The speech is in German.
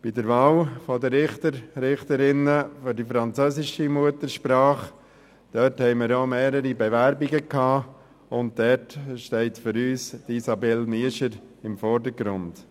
Bei der Wahl des Richters oder von Richterinnen französischer Muttersprache hatten wir ja mehrere Bewerbungen, und hier steht für uns Frau Isabelle Miescher im Vordergrund.